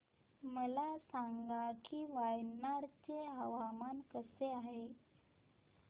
मला सांगा की वायनाड चे हवामान कसे आहे